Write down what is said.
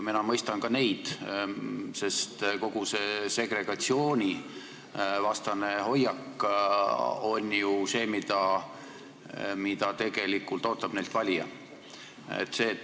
Mina mõistan ka neid, sest kogu see segregatsioonivastane hoiak on ju see, mida tegelikult valija neilt ootab.